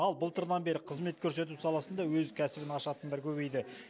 ал былтырдан бері қызмет көрсету саласында өз кәсібін ашатындар көбейді